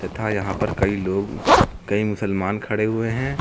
तथा यहां पर कई लोग कई मुसलमान खड़े हुए हैं।